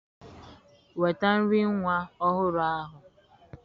Nweta nri nwa ọhụrụ ahụ.